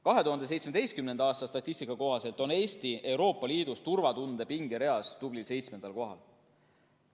2017. aasta statistika kohaselt on Eesti Euroopa Liidus turvatunde pingereas tublil seitsmendal kohal.